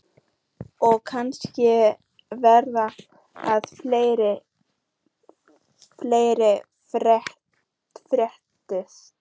Og kann vera að fleira fréttist.